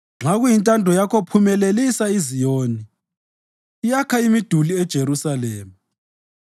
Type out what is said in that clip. Nxa kuyintando yakho phumelelisa iZiyoni; yakha imiduli yeJerusalema.